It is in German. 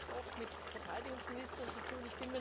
Wir haben es nicht oft mit Verteidigungsministern zu tun.